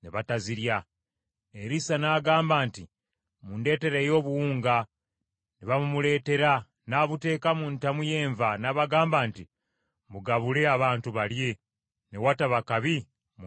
Erisa n’agamba nti, “Mundeetereyo obuwunga.” Ne babumuleetera n’abuteeka mu ntamu y’enva, n’abagamba nti, “Mugabule abantu balye.” Ne wataba kabi mu ntamu y’enva.